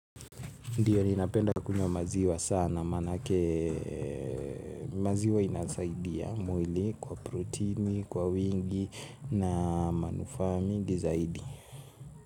Ndiyo ninapenda kunywa maziwa sana manake maziwa inasaidia mwili kwa protein kwa wingi na manufaa mingi zaidi.